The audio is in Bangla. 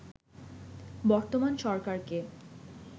বর্তমান সরকারকে